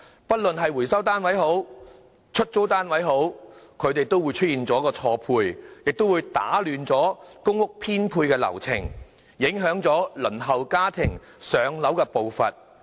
不論是回收單位或出租單位出現錯配，也會打亂公屋編配流程，影響輪候家庭"上樓"的步伐。